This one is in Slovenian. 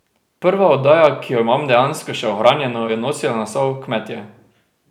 Prva oddaja, ki jo imam dejansko še ohranjeno, je nosila naslov Kmetje.